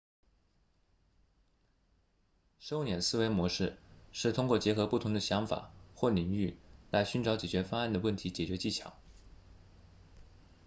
收敛思维模式是通过结合不同的想法或领域来寻找解决方案的问题解决技巧